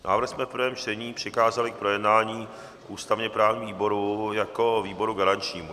Návrh jsme v prvém čtení přikázali k projednání ústavně-právnímu výboru jako výboru garančnímu.